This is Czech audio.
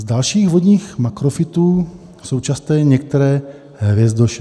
Z dalších vodních makrofytů jsou časté některé hvězdoše.